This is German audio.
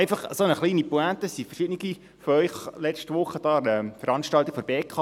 Eine kleine Pointe: Verschiedene von Ihnen waren letzte Woche an der Veranstaltung der BKW.